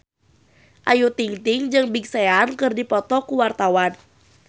Ayu Ting-ting jeung Big Sean keur dipoto ku wartawan